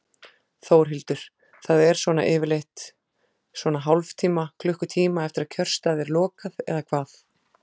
Þórhildur: Það er svona yfirleitt svona hálftíma, klukkutíma eftir að kjörstað er lokað eða hvað?